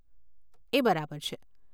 એ બરાબર છે.